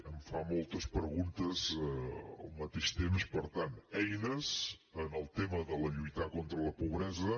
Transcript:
em fa moltes preguntes al mateix temps per tant eines en el tema de lluitar contra la pobresa